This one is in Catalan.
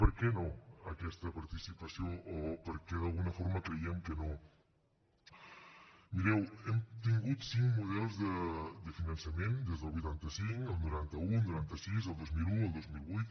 per què no aquesta participació o per què d’alguna forma creiem que no mireu hem tingut cinc models de finançament des del vuitanta cinc el noranta un el noranta sis el dos mil un el dos mil vuit